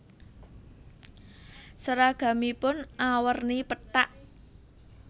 Seragamipun awerni pethak